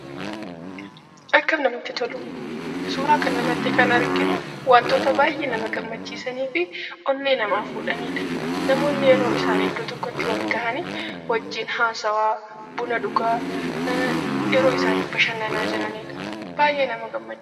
Akkam namatti tolu! Suuraa kana irratti kan arginu wantoota baay'ee nama gammachiisanii fi onnee namaa fuudhaniidha. Namoonni yeroo isaan iddoo tokkotti waliin ta'anii; wajjin haasawaa, buna dhugaa yeroo isaan bashannanaa jiraniidha. Baay'ee nama gammachiisa.